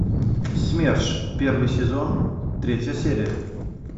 смерш первый сезон третья серия